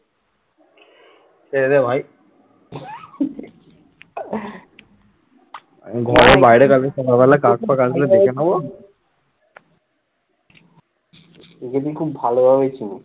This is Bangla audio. একে তুই খুব ভালোভাবে চিনি?